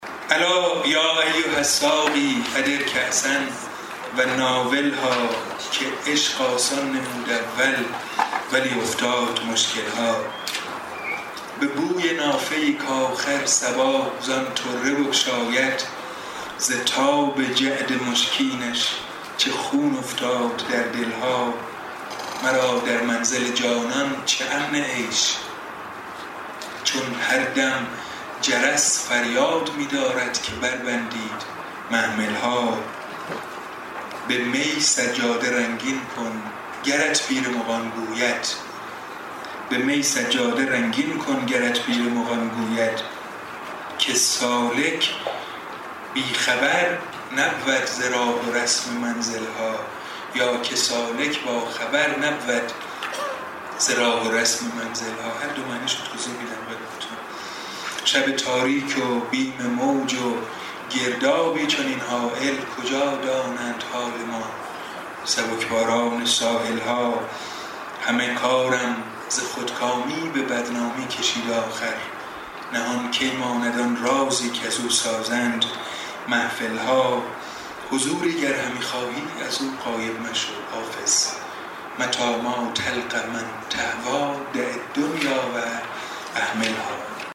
الا یا ایها الساقی ادر کأسا و ناولها که عشق آسان نمود اول ولی افتاد مشکل ها به بوی نافه ای کآخر صبا زان طره بگشاید ز تاب جعد مشکینش چه خون افتاد در دل ها مرا در منزل جانان چه امن عیش چون هر دم جرس فریاد می دارد که بربندید محمل ها به می سجاده رنگین کن گرت پیر مغان گوید که سالک بی خبر نبود ز راه و رسم منزل ها شب تاریک و بیم موج و گردابی چنین هایل کجا دانند حال ما سبک باران ساحل ها همه کارم ز خودکامی به بدنامی کشید آخر نهان کی ماند آن رازی کزو سازند محفل ها حضوری گر همی خواهی از او غایب مشو حافظ متیٰ ما تلق من تهویٰ دع الدنیا و اهملها